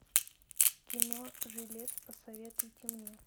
кино жилец посоветуйте мне